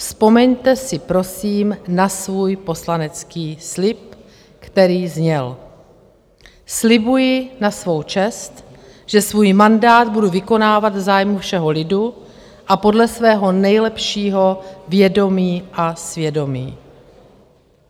Vzpomeňte si, prosím, na svůj poslanecký slib, který zněl: "Slibuji na svou čest, že svůj mandát budu vykonávat v zájmu všeho lidu a podle svého nejlepšího vědomí a svědomí".